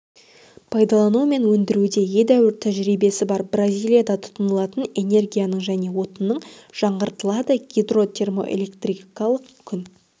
пайдалану мен өндіруде едәуір тәжірибесі бар бразилияда тұтынылатын энергияның және отынның жаңғыртылады гидро термоэлектрикалық күн